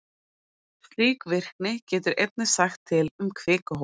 Slík virkni getur einnig sagt til um kvikuhólf.